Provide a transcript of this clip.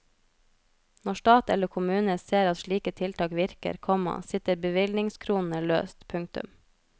Når stat eller kommune ser at slike tiltak virker, komma sitter bevilgningskronene løst. punktum